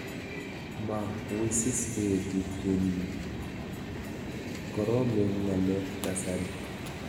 Ma wisis eeh tupchenyu, koromen ng'alek kasari.